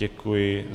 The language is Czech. Děkuji.